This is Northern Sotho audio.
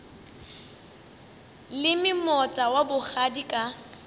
leme moota wa bogadi ka